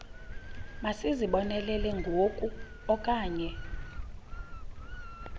masizibonelele ngoku okanye